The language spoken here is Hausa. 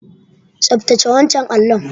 Tsaftace wancan allon.